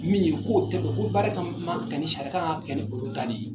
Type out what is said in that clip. Min ye k'o tɛ, o ko baara ka ma ka ni sariya, k'a ka kɛ ni olu ta de ye.